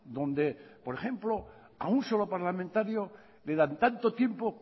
donde por ejemplo a un solo parlamentario le dan tanto tiempo